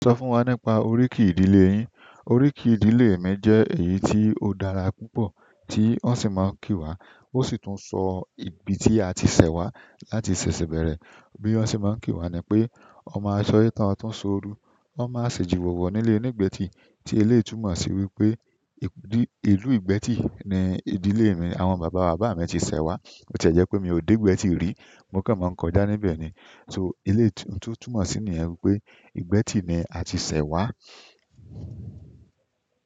Sọ fún wa nípa oríkì ìdílé yín. Oríkì ìdílé mi jẹ́ èyí tí ó dára púpọ̀ tí wọ́n sì máa ń ki wa. Ó sì tun sọ ibi tí a ti sẹ̀ wá láti ṣẹ̀ṣẹ̀ bẹ̀rẹ̀. Bí won ṣe máa ń ki wa ni pé "ọmọ a se oye tán o tán ṣóoru, wọ́n máa ṣèjì wòwò nílé onígbẹ́tì." Tí eléètù mọ̀ sí wípé ìlú ìgbẹ́tì ni ìdílé mi, ti àwọn bàbá bàbá mi ti ṣẹ̀ wá. Bo ti ẹ jẹ́ pé mi ò dé ìgbẹ́tì rí, mo kàn máa ń kọjá níbẹ̀ ni. So eleyi tio túmọ̀ mọ̀ sí ni yẹn wípé ìgbẹ́tì ni a ti ṣẹ̀ wá.